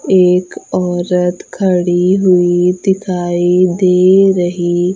एक औरत खड़ी हुई दिखाई दे रही --